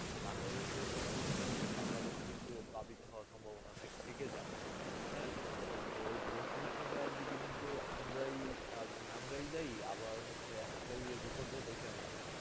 বাংলাদেশ একটা নিচ অঞ্চল বাংলাদেশ ও প্লাবিত হলো সম্ভাবনা থেকে যায় তো বেসায়িক উস্সনটা তা দিকে কিন্তু আমরা দেয় আবার হয়েছে আমরা বিপত্তি ডেকে আনছি